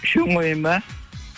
үшеуін қояйын ба